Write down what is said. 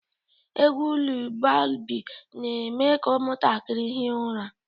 Egwu Lulabi na-eme ka ụmụntakịrị hie ụra